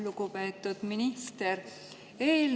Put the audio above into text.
Lugupeetud minister!